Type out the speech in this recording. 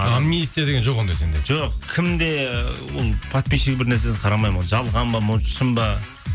амнистия деген жоқ ондай сенде жоқ кім де ол подписщик бірнәрсесін қарамаймын ол жалған ба может шын ба